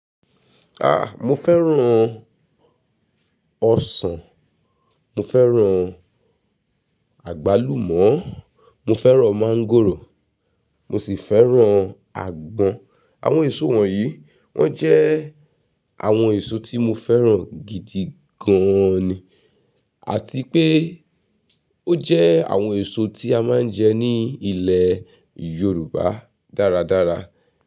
Ah! Mo fẹ́ràn ọsàn, mo fẹ́ràn àgbálùmọ́, mo fẹ́ràn máńgòrò, mo sì fẹ́ràn àgbọn. Àwọn èso wọ̀nyí wọ́n jẹ́ àwọn èso tí mo fẹ́ràn gidi gan ni. Àti pé ó jẹ́ àwọn èso tí a máa ń jẹ ní ilẹ̀ Yorùbá dáradára.